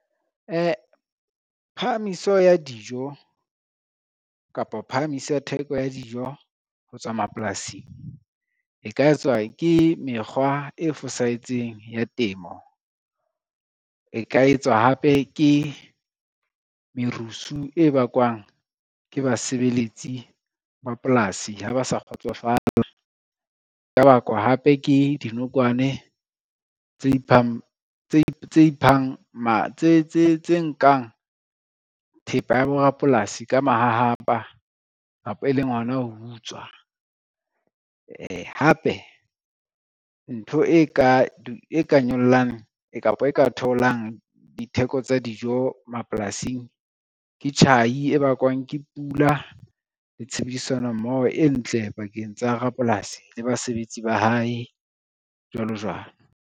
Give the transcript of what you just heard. Phahamiso ya dijo kapa phahamiso ya theko ya dijo ho tswa mapolasing e ka etswa ke mekgwa e fosahetseng ya temo, e ka etswa hape ke merusu e bakwang ke basebeletsi ba polasi ha ba sa kgotsofala, ya ka bakwa hape ke dinokwane tse nkang thepa ya borapolasi ka mahahapa kapa e leng hona ho utswa. Hape ntho e ka nyollang kapa e ka theolang ditheko tsa dijo mapolasing ke tjhai e bakwang ke pula le tshebedisano mmoho e ntle pakeng tsa rapolasi le basebetsi ba hae, jwalo jwalo.